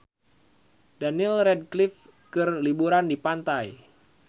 Daniel Radcliffe keur liburan di pantai